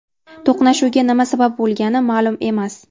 To‘qnashuvga nima sabab bo‘lgani ma’lum emas.